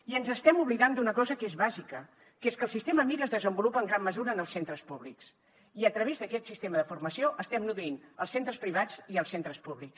i ens estem oblidant d’una cosa que és bàsica que és que el sistema mir es desenvolupa en gran mesura en els centres públics i a través d’aquest sistema de formació estem nodrint els centres privats i els centres públics